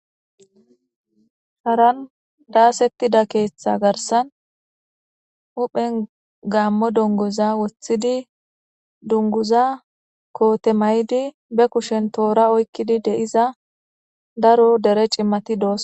Sharan daasettida keeththa garsan huphen gammo dongoza woththidi dunguza koote maydi be kushen toora oykkidi deiza daro dere cimmati doos.